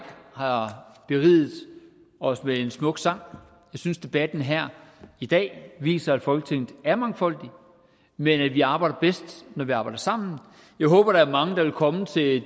har beriget os med en smuk sang synes debatten her i dag viser at folketinget er mangfoldigt men at vi arbejder bedst når vi arbejder sammen jeg håber der er mange der vil komme til det